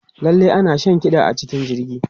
Lallai ana shan kiɗa a cikin jirgi.